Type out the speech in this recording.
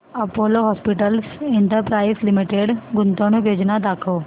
Apollo hospitals enterprise limited गुंतवणूक योजना दाखव